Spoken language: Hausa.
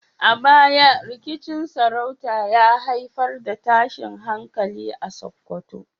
A baya, rikicin sarauta ya haifar da tashin hankali a Sakkwato.